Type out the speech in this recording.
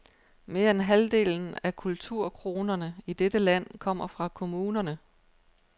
Mere end halvdelen af kulturkronerne i dette land kommer fra kommunerne.